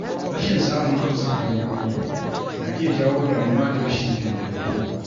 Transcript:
Rashin samun amsar tambayoyi na iya jawo damuwa da rashin jin daɗi.